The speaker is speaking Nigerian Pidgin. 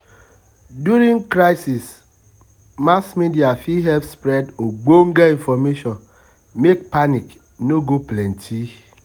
um during crisis mass media fit help spread ogbonge information make panic no go plenty.